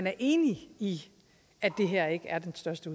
er enig i at det her ikke er den største